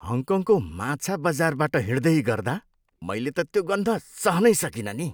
हङकङको माछा बजारबाट हिँड्दै गर्दा मैले त त्यो गन्ध सहनै सकिनँ नि।